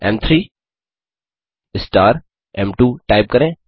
एम3 star एम2 type करें